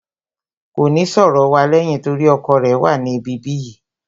Kò ní sọ̀rọ̀ wa lẹ́yìn torí ọkọ rẹ̀ wà ní ibi bí yìí